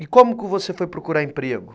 E como você foi procurar emprego?